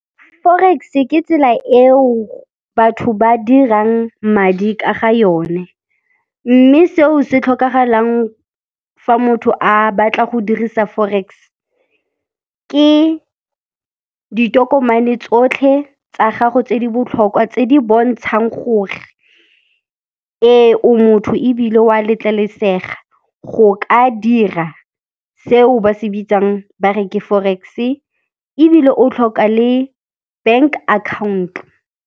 Forex-e ke tsela eo batho ba dirang madi ka ga yone, mme seo se tlhokagalang fa motho a batla go dirisa forex ke ditokomane tsotlhe tsa gago tse di botlhokwa tse di bontshang gore ee, o motho ebile wa letlelesega go ka dira seo ba se bitsang ba re ke forex-e ebile o tlhoka le bank account-o.